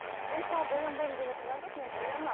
мен мысалы боянбаймын деп отырған жоқпын мен боянамын